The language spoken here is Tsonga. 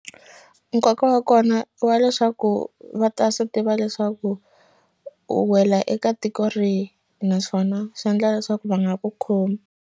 Nkoka wa kona wa leswaku va ta swi tiva leswaku u wela eka tiko rihi naswona swi endla leswaku va nga va ku khomi.